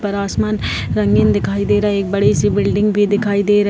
पर आसमान रंगीन दिखाई दे रहा है एक बड़ी सी बिल्डिंग भी दिखाई दे --